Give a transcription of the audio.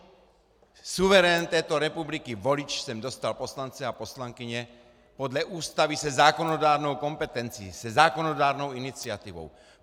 Suverén této republiky volič sem dostal poslance a poslankyně podle Ústavy se zákonodárnou kompetencí, se zákonodárnou iniciativou.